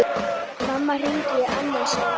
Mamma hringir í annað sinn.